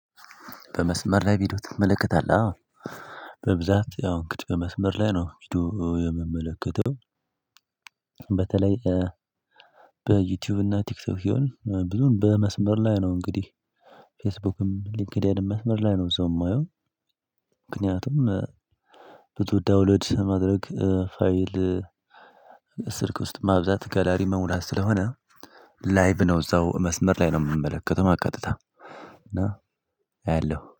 በመስመር ላይ ቪዲዮ ትመለከታለሁ? አዎ በብዛት ያው እንግዲህ በመስመር ላይ ነው ቪዲዮ የምመለከተው በተለይ በዩቲዩብ እና ቲክቶክ ቢሆን ብዙን በመስመር ላይ ነው እንግዲህ ፌስቡክም ሊንክዴንም መስመር ላይ ነው ሰው የማየው ምክንያቱም ብዙ ዳውሎድ ማድረግ ፋይል ስልክ ውስጥ ማብዛት ጋላሪ መሙላት ስለሆነ ላይቭ ነው እዛው መስመር ላይ ነው የምመለከተው ቀጥታ እና አየሁ